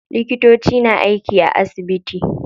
Likitoci na aiki a asibiti.